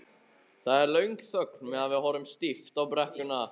Það er löng þögn meðan við horfum stíft á brekkuna.